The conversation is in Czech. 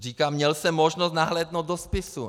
Říká, měl jsem možnost nahlédnout do spisu.